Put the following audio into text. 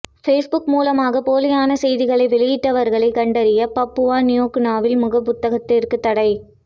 Facebook மூலமாக போலியான செய்திகளை வெளியிட்டவர்களை கண்டறிய பப்புவா நியூகினியாவில் முகப்புத்தகத்திற்கு தடை